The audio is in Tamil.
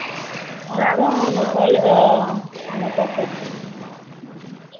அதுதான் அவங்க கையில ஆ அங்க தான் பிரச்சனை ம்ம